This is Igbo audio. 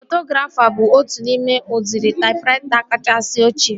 Taipografa bụ otu n'ime udiri taipraita kachasị ochie